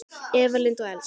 Eva Lind og Elsa.